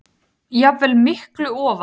jafnvel miklu ofar.